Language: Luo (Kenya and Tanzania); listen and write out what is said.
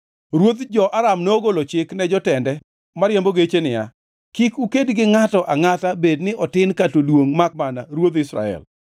Ruodh jo-Aram nogolo chik ne jotende mariembo geche niya, “Kik uked gi ngʼato angʼata bed ni otin kata oduongʼ makmana ruodh Israel.”